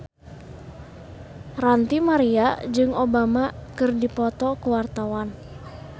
Ranty Maria jeung Obama keur dipoto ku wartawan